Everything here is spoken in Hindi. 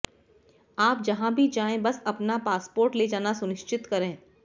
आप जहां भी जाएं बस अपना पासपोर्ट ले जाना सुनिश्चित करें